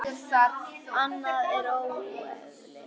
Annað er óeðli.